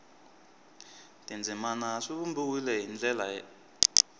tindzimana swi vumbiwile hi ndlela